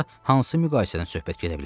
Burda hansı müqayisədən söhbət gedə bilər?